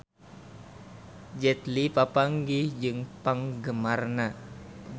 Jet Li papanggih jeung penggemarna